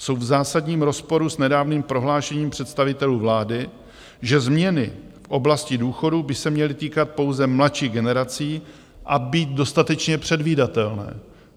Jsou v zásadním rozporu s nedávným prohlášením představitelů vlády, že změny v oblasti důchodů by se měly týkat pouze mladších generací a být dostatečně předvídatelné.